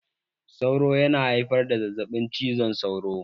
Sauro yana haifar da zazzaɓin cizon sauro.